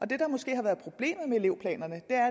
det der måske har været problemet med elevplanerne er